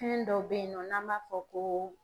Fɛn dɔ bɛyi nɔ n'an b'a fɔ ko